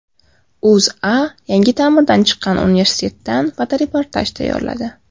O‘zA yangi ta’mirdan chiqqan universitetdan fotoreportaj tayyorladi .